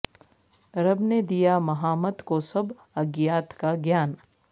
رب نے دیا مہامت کو سب اگیات کا گیان